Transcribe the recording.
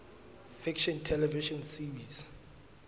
fiction television series